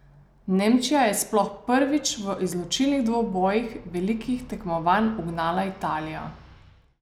Nemčija je sploh prvič v izločilnih dvobojih velikih tekmovanj ugnala Italijo.